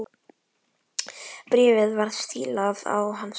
Bréfið var stílað á hann sjálfan.